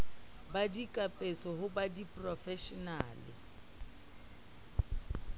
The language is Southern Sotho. ba dikapeso ho ba diporofeshenale